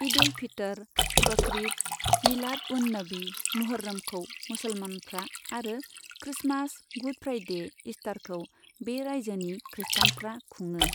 इद उल फितर, बकरीद, मिलाद उन नबी, मुहर्रमखौ मुसलमानफ्रा, आरो क्रिसमास, गुड फ्राइडे, इस्टारखौ बे राइजोनि खृष्टानफ्रा खुङो।